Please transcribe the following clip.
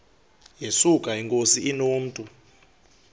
yesuka inkosi inomntu